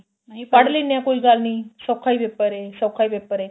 ਨਹੀਂ ਪੜ੍ਹ ਲੀਨੇ ਆ ਕੋਈ ਗੱਲ ਨੀ ਸੋਖਾ ਈ paper ਏ ਸੋਖਾ ਈ paper ਏ